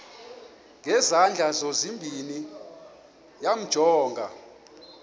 ngezandla zozibini yamjonga